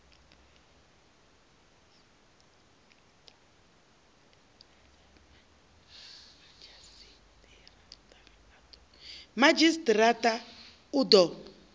madzhisi ṱira ṱa u ḓo